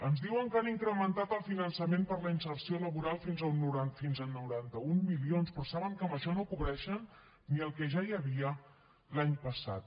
ens diuen que han incrementat el finançament per a la inserció laboral fins a noranta un milions però saben que amb això no cobreixen ni el que ja hi havia l’any passat